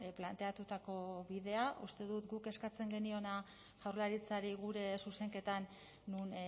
planteatutako bidea uste dut guk eskatzen geniona jaurlaritzari gure zuzenketan non